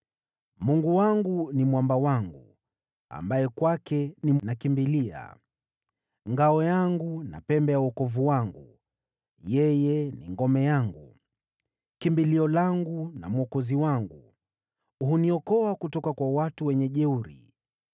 Mungu wangu ni mwamba wangu, ambaye kwake ninakimbilia, ngao yangu na pembe ya wokovu wangu. Yeye ni ngome yangu, kimbilio langu na mwokozi wangu, huniokoa kutoka kwa watu wenye jeuri.